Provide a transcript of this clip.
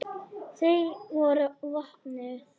Þau voru vopnuð.